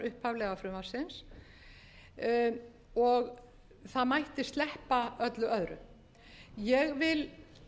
upphaflega frumvarpsins og það mætti sleppa öllu öðru ég vil